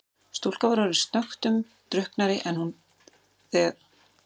Stúlkan var orðin snöggtum drukknari en þegar hún birtist í eldhúsinu.